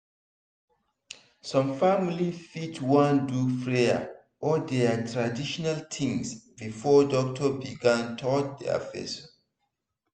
some family fit wan do prayer or their traditional things before doctor begin touch their person.